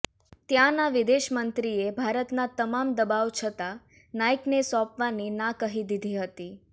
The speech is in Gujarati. ત્યાંનાં વિદેશ મંત્રીએ ભારતનાં તમામ દબાવ છતા નાઇકને સોંપવાની ના કહી દીધી હતી